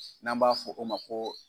N'an b'a fɔ o ma ko